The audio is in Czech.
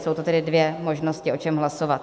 Jsou to tedy dvě možnosti, o čem hlasovat.